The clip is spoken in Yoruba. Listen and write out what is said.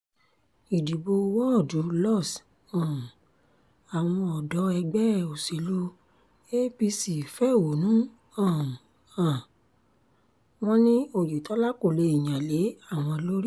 ìdìbò wọ́ọ̀dù lọ́s um àwọn ọ̀dọ́ ẹgbẹ́ òsèlú apc fẹ̀hónú um hàn wọ́n ní oyetola kó lè yan lé àwọn lórí